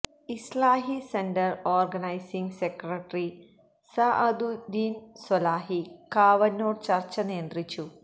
ഇസ്ലാഹി centre organising secretary Saaduddeen Swalahi Kavannur ചർച്ച നിയന്ത്രിച്ചു